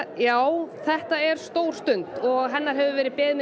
já þetta er stór stund hennar hefur verið beðið með